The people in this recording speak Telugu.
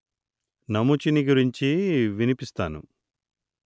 నముచిని గురించి వినిపిస్తాను